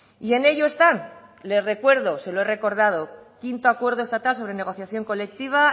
y en ello están les recuerdo se lo he recordado quinto acuerdo estatal sobre negociación colectiva